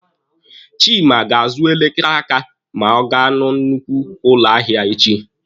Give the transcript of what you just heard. Chima ga-azụ elekere aka ma ọ ga na nnukwu ụlọ ahịa echi.